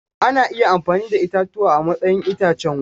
Ana iya amfani da itatuwa a matsayin itacen wuta.